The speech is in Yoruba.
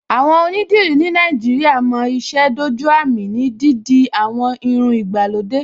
Àwọn onídìrí ní Nàìjíríà mo ìṣe dójú àmì ní dídi àwọn irun ìgbàlódé